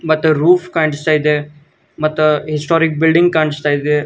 ಮತ್ತೆ ರೂಫ್ ಕಾಣಿಸ್ತಾ ಇದೆ ಮತ್ತ ಹಿಸ್ಟೊರಿಕ್ ಬಿಲ್ಡಿಂಗ್ ಕಾಣಿಸ್ತಾ ಇದೆ.